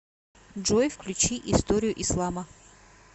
джой включи историю ислама